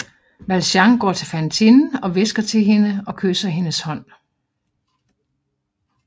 Valjean går til Fantine og hvisker til hende og kysser hendes hånd